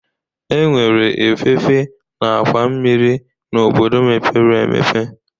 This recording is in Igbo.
Enwere efefe na àkwà mmiri n'obodo mepere emepe